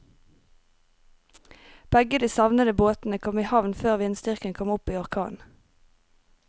Begge de savnede båtene kom i havn før vindstyrken kom opp i orkan.